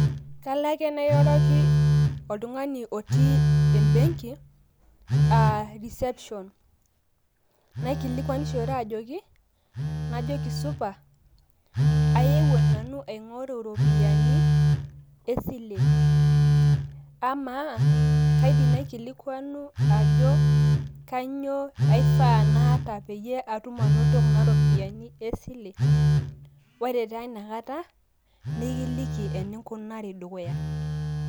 Kalo ake nairoroki oltung`ani otii e benki aa reception naikilikuanishore ajoki, najoki supa. Ayewuo nanu aing`oru iropiyiani e sile. Amaa kaidim naikilikuanu ajo kainyo aifaa naata peyie atum anoto kuna ropiyiani e sile. Ore taa ina kata nikiliki eninkunari dukuya.